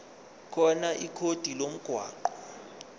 khona ikhodi lomgwaqo